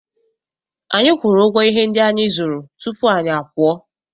Anyị kwụrụ ụgwọ ihe ndị anyị zụrụ tupu anyị apụọ.